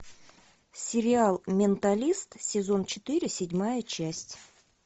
сериал менталист сезон четыре седьмая часть